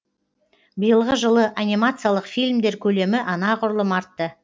биылғы жылы анимациялық фильмдер көлемі анағұрлым артты